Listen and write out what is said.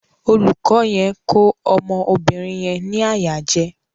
Olùkọ yẹn ko ọmọ obìrin yẹn ni àyà jẹ.